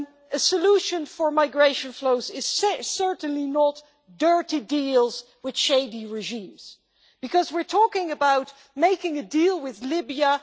A solution for migration flows is certainly not dirty deals with shady regimes, because we are talking about making a deal with Libya.